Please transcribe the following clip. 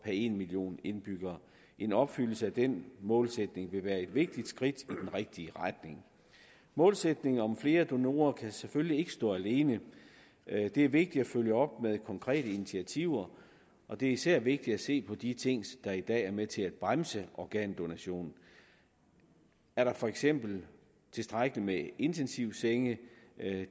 en million indbyggere en opfyldelse af den målsætning vil være et vigtigt skridt i den rigtige retning målsætningen om flere donorer kan selvfølgelig ikke stå alene det er vigtigt at følge op med konkrete initiativer og det er især vigtigt at se på de ting der i dag er med til at bremse organdonation er der for eksempel tilstrækkeligt med intensivsenge